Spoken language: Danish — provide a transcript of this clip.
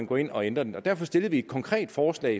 gå ind og ændre den og derfor stillede vi et konkret forslag